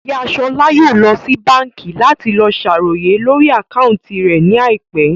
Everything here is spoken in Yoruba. Ìyá Ṣọlá yóò lọ sí báńkì láti lọ sàròyé lórí àkáúntì rẹ̀ ní àìpẹ́